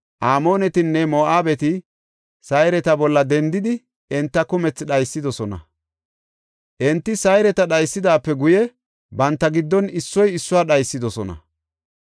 Amoonetinne Moo7abeti Sayreta bolla dendidi, enta kumethi dhaysidosona. Enti Sayreta dhaysidaape guye banta giddon issoy issuwa dhaysidosona.